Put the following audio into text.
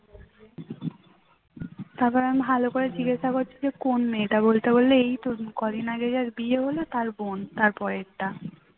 তারপর আমি ভালো করে জিজ্ঞাসা করছি যে কোন মেয়েটা বলতে বলল যে এই মেয়েটা এই তো কদিন আগে যার বিয়ে হল তার বোন। তার পরেরটা